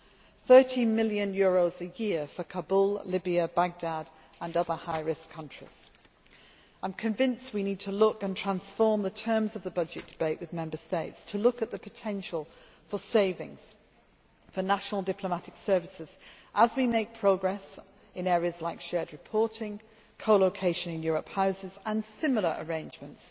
costs. EUR 30 million per year for Kabul, Libya, Baghdad, and other high risk places. I am convinced we need to look and transform the terms of the budget debate with Member States to look at the potential for savings for national diplomatic services as we make progress in areas like shared reporting, co location in Europe Houses' and similar arrangements,